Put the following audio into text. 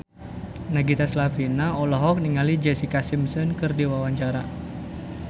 Nagita Slavina olohok ningali Jessica Simpson keur diwawancara